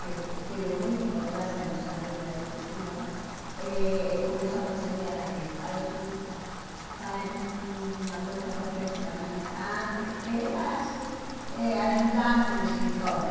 que teve muita importância em nossa vida, esse senhor, eh começou a aconselhar a ele, faz um faz uma coisa profissionalizante, porque ele era assim eh ajudante de escritório.